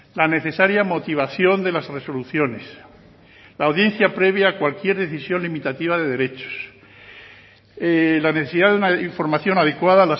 la necesaria motivación de las resoluciones la audiencia previa a cualquier decisión limitativa de derechos la necesidad de una información adecuada